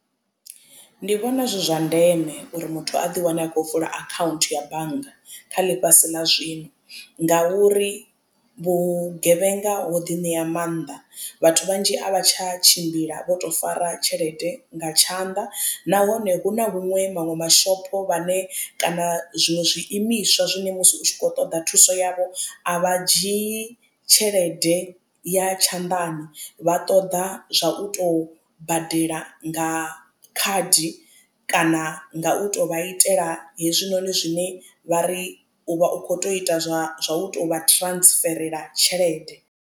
Ndi vhona zwi zwa ndeme uri muthu a ḓi wane a khou vula akhaunthu ya bannga kha ḽifhasi ḽa zwino ngauri vhugevhenga ho ḓiṋea maanḓa vhathu vhanzhi a vha tsha tshimbila vho to fara tshelede nga tshanḓa. Nahone hu na huṅwe maṅwe mashopo vhane kana zwiṅwe zwi imiswa zwine musi u tshi khou ṱoḓa thuso yavho a vha dzhii tshelede ya tshanḓani vha ṱoḓa zwa u to badela nga khadi kana nga u to vha itela hezwinoni zwine vha ri u vha u kho to ita zwa u tovha transferela tshelede.